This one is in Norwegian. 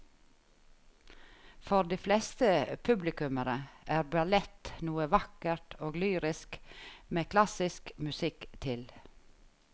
For de fleste publikummere er ballett noe vakkert og lyrisk med klassisk musikk til.